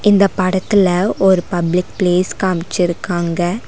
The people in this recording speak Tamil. இந்தப் படத்துல ஒரு பப்ளிக் பிளேஸ் காம்ச்சிருக்காங்க.